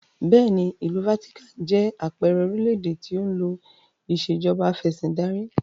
Bẹ́ẹ̀ni, ìlú Vatican jẹ àpẹẹrẹ orílédé tí ó ń lò ìsèjọba afẹ̀sindarí